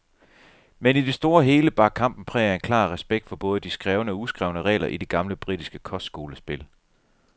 Men, i det store og hele, bar kampen præg af en klar respekt for både de skrevne og uskrevne regler i det gamle britiske kostskolespil.